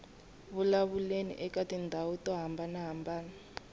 vulavuleni eka tindhawu to hambanahambana